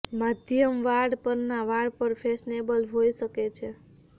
માધ્યમ વાળ પરના વાળ પણ ફેશનેબલ હોઈ શકે છે